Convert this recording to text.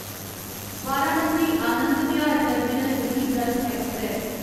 Varanasi Anand Vihar terminal Garib Rath express